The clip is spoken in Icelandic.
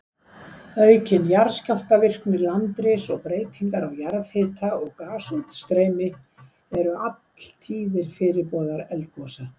Aukin jarðskjálftavirkni, landris og breytingar á jarðhita og gasútstreymi eru alltíðir fyrirboðar eldgosa.